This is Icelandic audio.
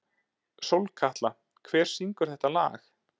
Sólkatla, hver syngur þetta lag?